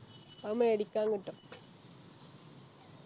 അത് മേടിക്കാൻ കിട്ടും